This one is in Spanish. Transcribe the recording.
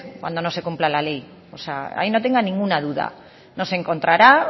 cuando no se cumpla la ley o sea ahí no tenga ninguna duda nos encontrará